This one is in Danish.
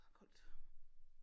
Her er koldt